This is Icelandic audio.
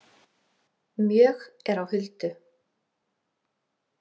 Mjög er á huldu.